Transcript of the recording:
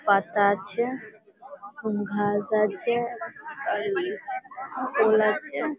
পাতা আছে ঘাস আছে আর-র ফুল আছে --